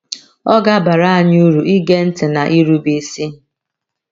Ọ ga - abara anyị uru ige ntị na irube isi.